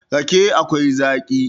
rake akwai Zaki